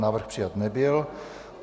Návrh přijat nebyl.